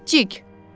Cik-cik!